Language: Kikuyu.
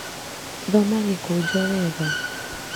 Thoma gĩkũnjo wega